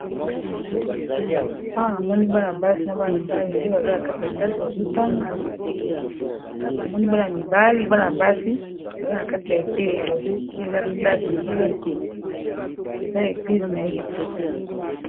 Awa namoni bana basi na ba mibali nde baza na kati ya classe bazotanga namoni bana mibali bana basi baza na kati ya etelo soki eza classe soki eza eglize nayebi te.